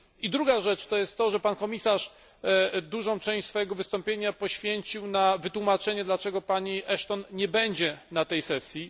Druga rzecz to jest to, że pan komisarz dużą część swojego wystąpienia poświęcił na wytłumaczenie, dlaczego pani Ashton nie będzie na tej sesji.